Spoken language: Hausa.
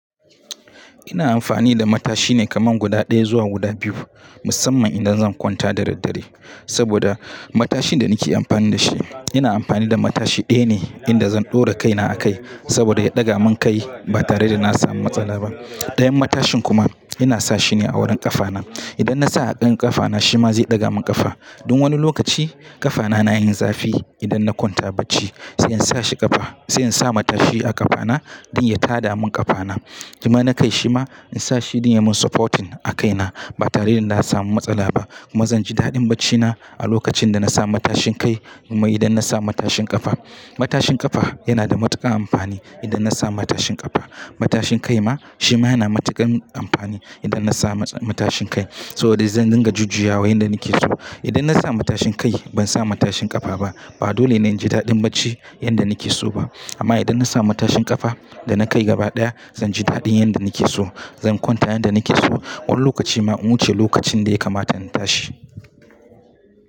Ina amfani da matashi ne kaman guda ɗaya zuwa guda biyu, musamman idan zan kwanta da daddare. Saboda matashin da nake amfani da shi, ina amfani da matashi ɗaya ne inda zan ɗora kaina a kai, saboda ya ɗaga mun kai ba tare da na samu matsala ba. Ɗayan matashin kuma ina sa shi ne a wurin ƙafa na. Idan na sa a ɗayan ƙafa na shi ma zai ɗaga mun ƙafa. Tun wani lokaci ƙafa na, na yin zafi idan na kwanta bacci. Sai in sa shi ƙafa, sai in sa matashi a ƙafa na don ya tada mun ƙafa na. Kuma na kai shi ma ina sa shi don ya mun supporting a kai na ba tare da na samu matsala ba. Kuma zan ji daɗin baccina a lokacin da na sa matashin kai kuma idan na sa matashin ƙafa. Matashin ƙafa yana da matuƙar amfani idan na sa matashin ƙafa. Matashin kai ma shi ma yana matuƙan amfani idan na sa matashin kai. Saboda zan dinga jujjuyawa yanda nake so. Idan na sa matashin kai ban sa matashin ƙafa ba, ba dole ne in ji daɗin bacci yanda nake so ba. Amma idan na sa matashin ƙafa da na kai gaba daya zan ji daɗin yanda nake so. Zan kwanta yanda nake so. Wani lokaci ma in wuce lokacin da ya kamata na tashi.